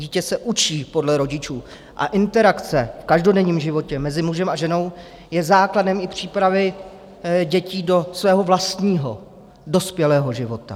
Dítě se učí podle rodičů a interakce v každodenním životě mezi mužem a ženou je základem i přípravy dětí do svého vlastního dospělého života.